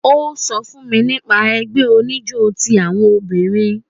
Ó sọ fún mi nípa ẹgbẹ́ oníjó ti àwọn obìnrin